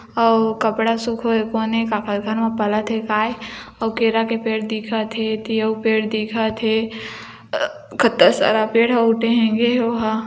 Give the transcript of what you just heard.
अऊ वो कपड़ा सुखोए कोने काकर घर मे पलत हे काय अऊ केरा के पेड़ हे एती अऊ पेड़ दिखत हे कतता सारा पेड़